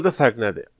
Burada fərq nədir?